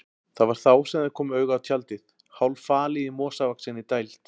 Það var þá sem þeir komu auga á tjaldið, hálffalið í mosavaxinni dæld.